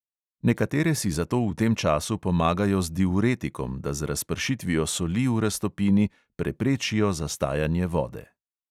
Nekatere si zato v tem času pomagajo z diuretikom, da z razpršitvijo soli v raztopini preprečijo zastajanje vode.